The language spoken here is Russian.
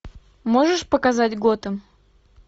можешь показать готэм